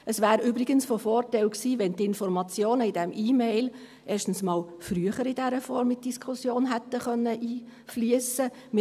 Es wäre übrigens von Vorteil gewesen, wenn die Informationen in dieser E-Mail erstens einmal früher in dieser Form in die Diskussion hätten einfliessen können.